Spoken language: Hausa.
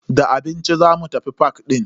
Da abinci zamu tafi fak din.